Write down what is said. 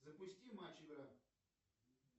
запусти матч игра